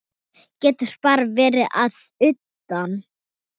Getur bara verið að utan.